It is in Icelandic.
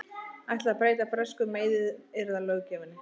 Ætla að breyta bresku meiðyrðalöggjöfinni